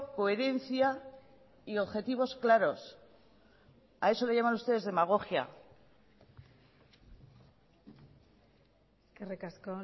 coherencia y objetivos claros a eso le llaman ustedes demagogia eskerrik asko